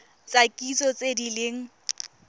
tsa kitso tse di leng